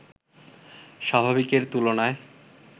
স্বাভাবিকের তুলনায়